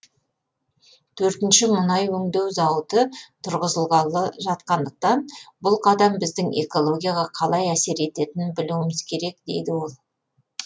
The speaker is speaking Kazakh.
төртінші мұнай өңдеу зауыты тұрғызылғалы жатқандықтан бұл қадам біздің экологияға қалай әсер ететінін білуіміз керек дейді ол